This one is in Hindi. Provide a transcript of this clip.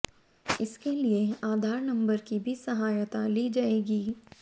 इसके लिए आधार नंबर की भी सहायता ली जाएगी